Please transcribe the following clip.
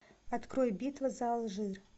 открой битва за алжир